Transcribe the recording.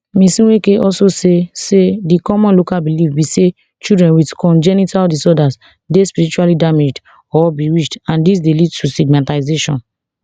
ms nweke also say say di common local belief be say children wit congenital disorders dey spiritually damaged or bewitched and dis dey lead to stigmatisation